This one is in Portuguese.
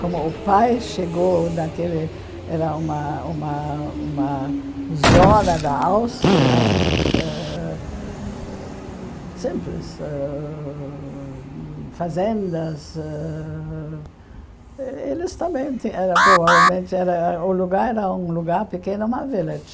Como o pai chegou naquele era uma uma uma zona da Áustria, ãh simples, ãh fazendas, ãh eles também ti era provavelmente... O lugar era um lugar pequeno, uma village.